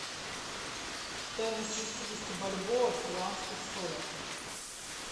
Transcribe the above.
стоимость шестидесяти бальбоа в перуанских солях